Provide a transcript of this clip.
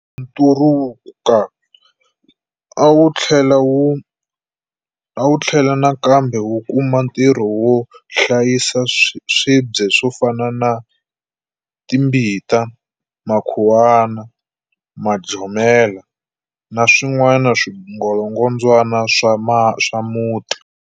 Nturuka a wu tlhela nakambe wu kuma ntirho wo hlayisa swibye swo fana na timbita, makhuwana, majomela na swin'wana swingolongondzwana swa muti.